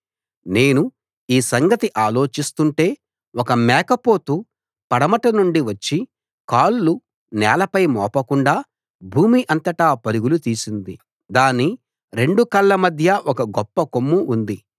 నేను ఈ సంగతి ఆలోచిస్తుంటే ఒక మేకపోతు పడమట నుండి వచ్చి కాళ్లు నేలపై మోపకుండా భూమి అంతటా పరుగులు తీసింది దాని రెండు కళ్ళ మధ్య ఒక గొప్ప కొమ్ము ఉంది